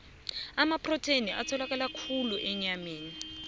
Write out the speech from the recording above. amaprotheni atholakala khulu enyameni